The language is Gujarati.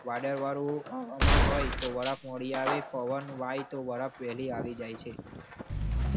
વાદળ વાળું હવામાન હોય તો પવન વાય વહેલી આવી જાય છે